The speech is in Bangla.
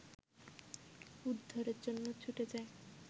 উদ্ধারের জন্য ছুটে যাই